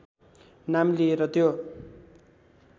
नाम लिएर त्यो